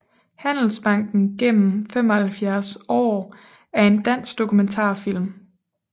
Handelsbanken gennem 75 Aar er en dansk dokumentarfilm